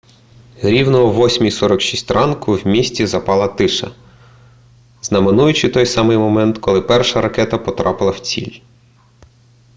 рівно о 8:46 ранку в місті запала тиша знаменуючи той самий момент коли перша ракета потрапила в ціль